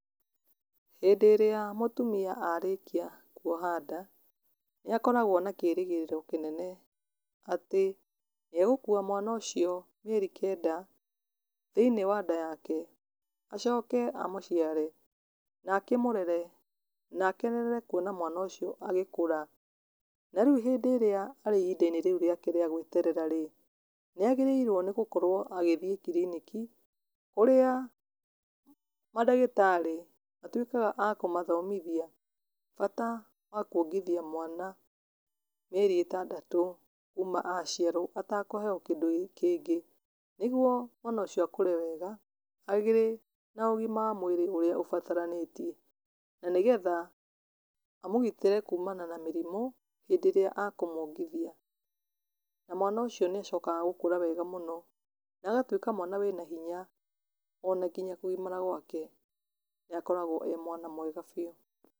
Hĩndĩ ĩrĩa mũtumia arĩkia kuoha nda, nĩakoragwo na kĩrĩgĩrĩro kĩnene, atĩ nĩagũkua mwana ũcio mĩeri kenda, thĩinĩ wa nda yake, acoke amũciare, na akĩmũrere, na akenerere kuona mwana ũcio agĩkũra, na rĩũ hindĩ ĩrĩa arĩ ihindainĩ rĩu rĩake rĩa gweterera rĩ, nĩagĩrĩirwo nĩ gũkorwo agĩthiĩ kiriniki, ũrĩa madagĩtarĩ matuĩkaga a kũmathomithia bata wakuongithia mwana, mĩeri ĩtandatũ kuma aciarwo atakũheo kĩndũ kĩngĩ, nĩguo mwana ũcio akũre wega, arĩ na ũgima wa mwĩrĩ ũrĩa ũbataranĩtie, na nĩgetha amũgitĩre kumana na mĩrimũ, hindĩ ĩrĩa akũmwongithia. Na mwana ũcio nĩacokaga gũkũra wega mũno na agatuĩka mwana wĩna hinya, ona nginya kũgimara gwake, nĩakoragwo e mwana mwega biũ.